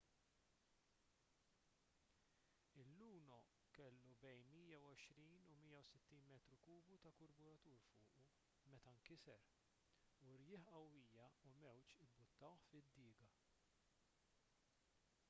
il-luno kellu 120-160 metru kubu ta' karburant fuqu meta nkiser u rjieħ qawwija u mewġ imbuttawh fid-diga